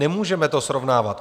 Nemůžeme to srovnávat.